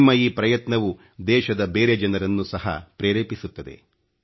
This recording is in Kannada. ನಿಮ್ಮ ಈ ಪ್ರಯತ್ನವು ದೇಶದ ಬೇರೆ ಜನರನ್ನು ಸಹ ಪ್ರೇರೇಪಿಸುತ್ತದೆ